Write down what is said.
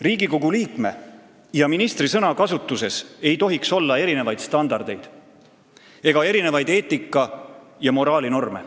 Riigikogu liikme ja ministri sõnakasutuses ei tohiks kehtida erinevaid standardeid ega erinevaid eetika- ja moraalinorme.